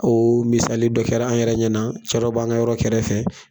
o misali dɔ kɛr'an yɛrɛ ɲɛna, cɛ dɔ b'an ka yɔrɔ kɛrɛfɛ